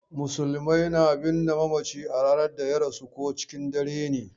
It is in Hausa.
Musulmai na binne mamaci a ranar da ya rasu ko cikin dare ne.